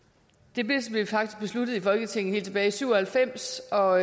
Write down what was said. det blev faktisk besluttet i folketinget helt tilbage syv og halvfems og